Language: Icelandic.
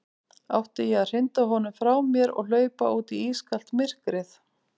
Átti ég að hrinda honum frá mér og hlaupa út í ískalt myrkrið?